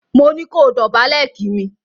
Mo ní kó dòbálè kí mi!